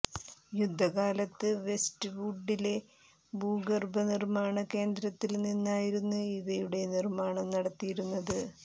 യുദ്ധക്കാലത്ത് വെസ്റ്റ് വുഡിലെ ഭൂഗര്ഭ നിര്മ്മാണ കേന്ദ്രത്തില് നിന്നായിരുന്നു ഇവയുടെ നിര്മാണം നടത്തിയിരുന്നത്